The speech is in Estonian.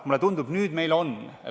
Mulle tundub, et nüüd meil seda on.